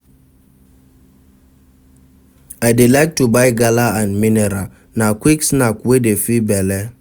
I dey like to buy gala and mineral, na quick snack wey dey fill belle.